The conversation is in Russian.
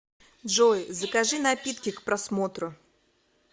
джой закажи напитки к просмотру